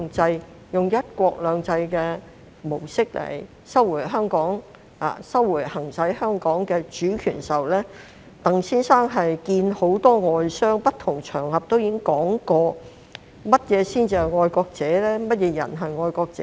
在以"一國兩制"的模式收回行使香港的主權時，鄧先生會見了很多外商，並在不同場合談及何謂"愛國者"和甚麼人才是愛國者。